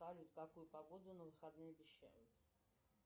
салют какую погоду на выходные обещают